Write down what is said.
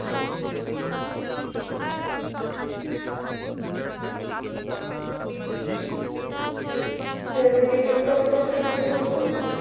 হ্যাঁ হৃদি তুমি কি আমার কথা সুনতে পাচ্ছো?